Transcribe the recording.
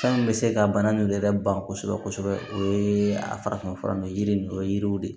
Fɛn min bɛ se ka bana ninnu yɛrɛ ban kosɛbɛ kosɛbɛ o ye a farafin fura ye yiri ninnu dɔ ye yiriw de